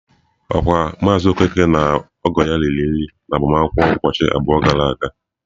Okwa maazị Okeke ya na ọgọ ya riri nri n'agbamakwụkwọ ụbọchị abụọ gara aga?